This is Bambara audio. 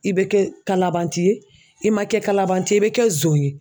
I bɛ kɛ kalabanti ye i man kɛ kalabanti ye i bɛ kɛ zon ye.